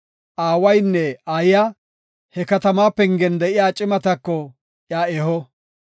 aawaynne aayiya he katamaa pengen de7iya cimatako iya eho.